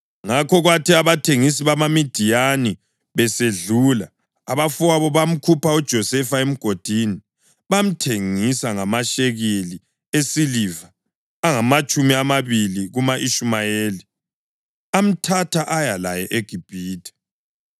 Ngakho kwathi abathengisi bamaMidiyani besedlula abafowabo bamkhupha uJosefa emgodini bamthengisa ngamashekeli esiliva angamatshumi amabili kuma-Ishumayeli, amthatha aya laye eGibhithe.